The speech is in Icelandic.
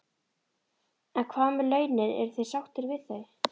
En hvað með launin, eru þeir sáttir við þau?